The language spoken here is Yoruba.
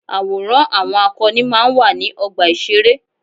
Àwòrán àwọn akọni máa ń wà ní ọgbà ìṣeré.